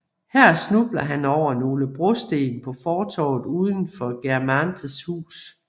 Her snubler han over nogle brosten på fortovet uden for Guermantes hus